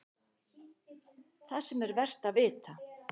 ÞAÐ SEM ER VERT AÐ VITA